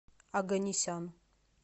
оганесян